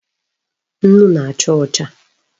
Nnu na-acha ocha